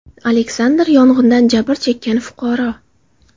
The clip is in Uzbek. Aleksandr, yong‘indan jabr chekkan fuqaro.